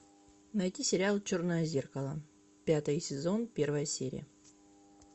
найти сериал черное зеркало пятый сезон первая серия